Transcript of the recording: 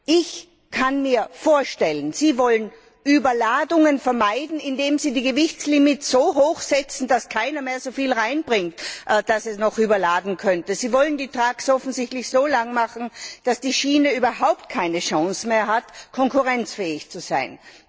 Ich kann mir vorstellen, Sie wollen Überladungen vermeiden, indem Sie die Gewichtslimits so hoch setzen, dass keiner so viel reinbringt, dass es als Überladung gelten könnte. Sie wollen die Lkw offensichtlich so lang machen, dass die Schiene überhaupt keine Chance mehr hat, konkurrenzfähig zu sein.